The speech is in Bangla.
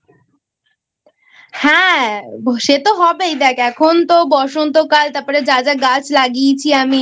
হ্যাঁ সে তো হবেই দেখ এখন তো বসন্তকাল যা যা গাছ লাগিয়েছি আমি